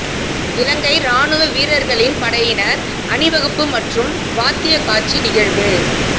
இலங்கை இராணுவ வீரர்களின் படையினர் அணிவகுப்பு மற்றும் வாத்தியக் காட்சி நிகழ்வு